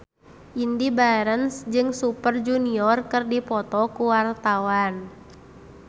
Indy Barens jeung Super Junior keur dipoto ku wartawan